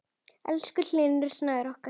Elsku Hlynur Snær okkar.